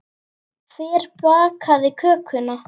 Hver bakaði kökuna?